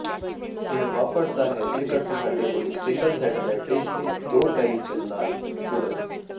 ਇਹ ਵਾਪਰਦਾ ਹੈ ਜੇਕਰ ਤੁਹਾਡੇ ਕੋਲ ਇੱਕ ਸਿੰਗਲ ਸੈਟੇਲਾਈਟ ਡਿਸ਼ ਲਈ ਦੋ ਟਲੀਿੀਜ਼ਨ ਨਾਲ ਜੁੜਨ